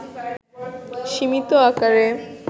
সীমিত আকারে